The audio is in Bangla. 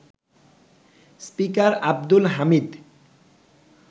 স্পিকার আব্দুল হামিদ